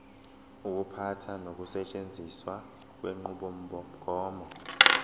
ukuphatha nokusetshenziswa kwenqubomgomo